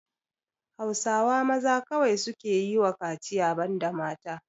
Hausawa maza kawai suke yiwa kaciya banda mata.